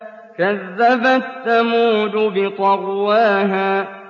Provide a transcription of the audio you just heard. كَذَّبَتْ ثَمُودُ بِطَغْوَاهَا